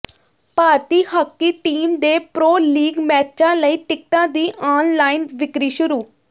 ਭਾਰਤੀ hockey team ਦੇ pro league ਮੈਚਾਂ ਲਈ ਟਿਕਟਾਂ ਦੀ ਆਨਲਾਈਨ ਵਿਕਰੀ ਸ਼ੁਰੂ